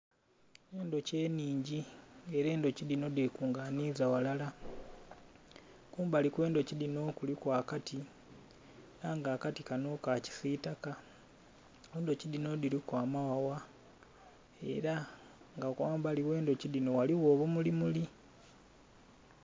Endhoki enhingi nga era endhoki dhino dhe kunganhiza ghalala. Kumbali kwe ndhoki dhino kuliku akati era nga akati kanho ka kisitaka, endhoki dhino dhiliku amaghagha era nga ghambali ghe dhoki dhino ghaligho obumuli muli.